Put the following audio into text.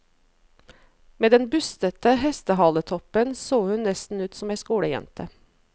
Med den bustete hestehaletoppen så hun nesten ut som ei skolejente.